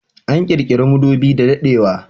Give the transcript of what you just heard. An kirkiri madubi da daɗewa